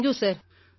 thank you sir